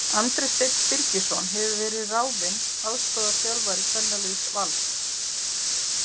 Andri Steinn Birgisson hefur verið ráðinn aðstoðarþjálfari kvennaliðs Vals.